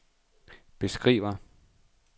beskriver